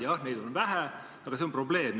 Jah, neid olukordi on vähe, aga see on probleem.